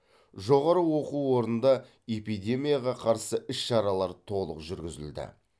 жоғары оқу орнында эпидемияға қарсы іс шаралар толық жүргізілді